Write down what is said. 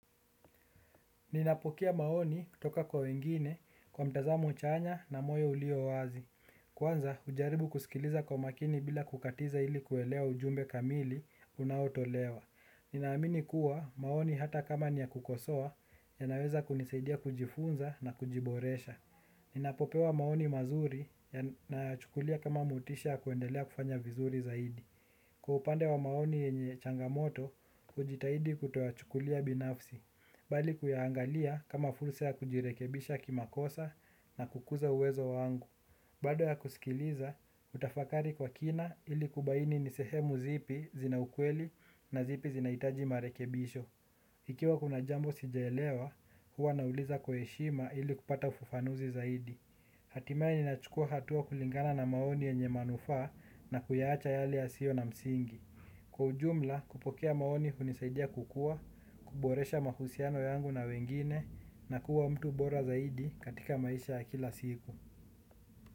Ninapokea maoni kutoka kwa wengine kwa mtazamo chanya na moyo ulio wazi. Kwanza hujaribu kusikiliza kwa makini bila kukatiza ili kuelewa ujumbe kamili unaotolewa. Ninaamini kuwa maoni hata kama ni ya kukosoa, yanaweza kunisaidia kujifunza na kujiboresha. Ninapopewa maoni mazuri nayachukulia kama motisha ya kuendelea kufanya vizuri zaidi. Kwa upande wa maoni yenye changamoto, hujitahidi kutoyachukulia binafsi. Bali kuyaangalia kama fursa ya kujirekebisha kimakosa na kukuza uwezo wangu. Baada ya kusikiliza, hutafakari kwa kina ili kubaini ni sehemu zipi zina ukweli na zipi zinahitaji marekebisho. Ikiwa kuna jambo sijaelewa, huwa nauliza kwa heshima ili kupata ufufanuzi zaidi. Hatimaye nachukua hatua kulingana na maoni yenye manufaa na kuyaacha yale yasio na msingi. Kwa ujumla kupokea maoni hunisaidia kukua, kuboresha mahusiano yangu na wengine na kuwa mtu bora zaidi katika maisha ya kila siku.